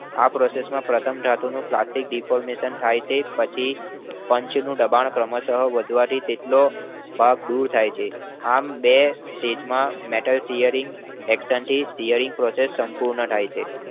આ process માં પ્રથમ ધાતુનું plastic deformation થાય છે, પછી પંચનું દબાણ ક્રમશઃ વધવાથી તેટલો ભાગ દૂર થાય છે. આમ, બે stage માં Metal shearing action થી shearing process પૂર્ણ થાય છે.